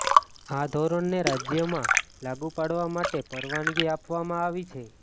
આ ધોરણને રાજ્યમાં લાગુ પાડવા માટે પરવાનગી આપવામાં આવી છે